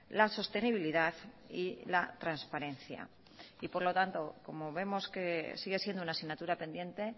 la sostenibilidad y la transparencia y por lo tanto como vemos que sigue siendo una asignatura pendiente